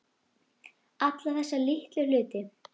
Alla þessa litlu hluti.